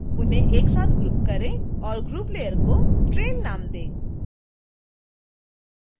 उन्हें एक साथ ग्रुप करें और ग्रुप लेयर को train नाम दें